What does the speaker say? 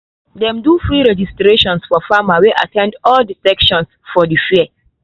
dem do free registration for farmers wey at ten d all the sessions for the fair.